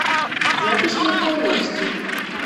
запись михайловский